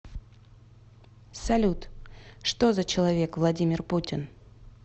салют что за человек владимир путин